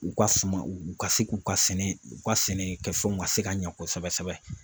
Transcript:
U ka suma u ka se k'u ka sɛnɛ u ka sɛnɛ kɛfɛnw ka se ka ɲɛ kosɛbɛ sɛbɛ